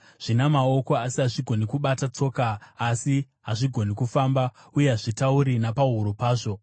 zvina maoko, asi hazvigoni kubata, tsoka, asi hazvigoni kufamba; uye hazvitauri napahuro pazvo.